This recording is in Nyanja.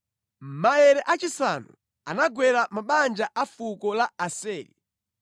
Maere achisanu anagwera mabanja a fuko la Aseri.